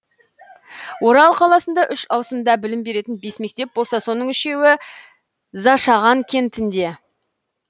орал қаласында үш ауысымда білім беретін бес мектеп болса соның үшеуі зашаған кентінде